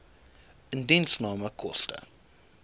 indiensname koste